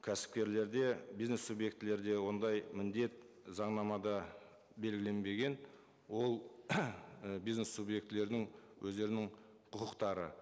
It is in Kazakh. кәсіпкерлерде бизнес субъектілерде ондай міндет заңнамада белгіленбеген ол бизнес субъектілердің өздерінің құқықтары